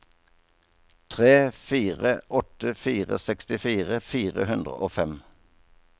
tre fire åtte fire sekstifire fire hundre og fem